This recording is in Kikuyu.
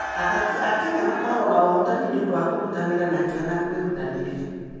Athaki a Kenya makoragwo na ũhootani nĩ ũndũ wa kũruta wĩra na kĩyo na kwĩrutanĩria.